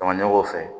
fɛ